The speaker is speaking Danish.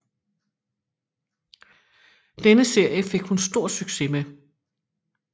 Denne serie fik hun stor succes med